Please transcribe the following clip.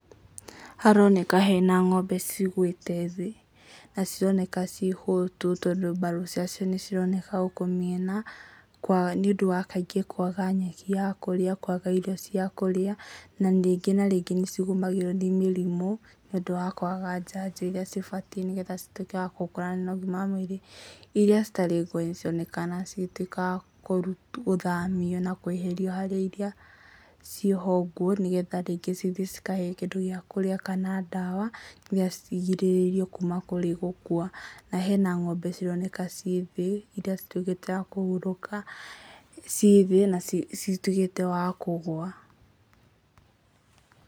Haroneka hena ng'ombe cigũĩte thĩ, na cironeka ciĩ hotu, tondũ mbaru ciacio nĩ cironeka gũkũ mĩena, nĩũndũ wa kaingĩ kwaga nyeki ya kũrĩa, kwaga irio cia kũrĩa ,na rĩngĩ na rĩngĩ nĩ cigũmagĩrwo nĩ mĩrimũ, nĩũndũ wa kwaga njanjo iria cibatiĩ, nĩgetha cituĩke wa gũkũra na ũgima mwega wa mwĩrĩ, iria citarĩ nguũ nĩ cironekana cigĩtuĩka wa kũrutwo, gũthamio na kweherio harĩ iria ciĩ ho nguũ, nĩgetha rĩngĩ cithiĩ cikagĩe na kĩndũ gĩa kũrĩa, kana ndawa, nĩgetha cigirĩrĩrio kuma kũrĩ gũkua. Na hena ng'ombe cironeka ciĩ thĩ iria cituĩkĩte ya kũhurũka, ciĩ thĩ na cituĩkĩte wa kũgũa.